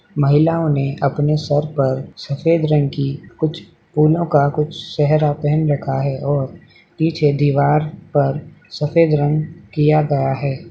महिलाओं ने अपने सर पर सफेद रंग की कुछ फूलों का कुछ सहरा पहन रखा है और पीछे दीवार पर सफेद रंग किया गया है।